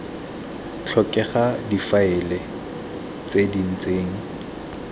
tlhokega difaele tse di ntseng